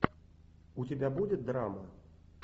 у тебя будет драма